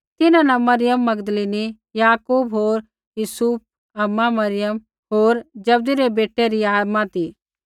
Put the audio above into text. तिन्हां न मरियम मगदलीनी याकूब होर यूसुफ आमा मरियम होर जब्दी रै बेटै री आमा ती